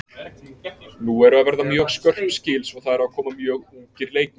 Nú eru að verða mjög skörp skil svo það eru að koma mjög ungir leikmenn.